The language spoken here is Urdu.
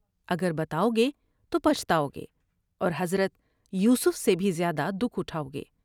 اگر بتاؤ گے تو پچھتاؤ گے اور حضرت یوسف سے بھی زیادہ دکھ اٹھاؤ گے ۔